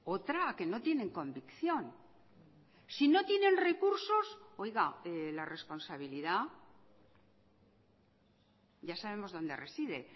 otra a que no tienen convicción si no tienen recursos oiga la responsabilidad ya sabemos dónde reside